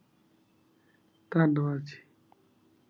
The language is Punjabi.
ਟਾਂਵਾਂ ਜੀ